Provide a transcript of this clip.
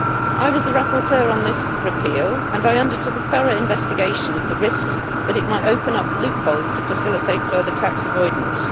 I was the rapporteur on this repeal and I undertook a thorough investigation of the risk that it might open up loopholes to facilitate further tax avoidance.